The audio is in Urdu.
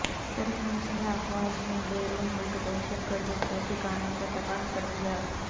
ترک مسلح افواج نے بیرون ملک دہشت گردوں کے ٹھکانوں کو تباہ کر دیا